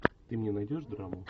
ты мне найдешь драму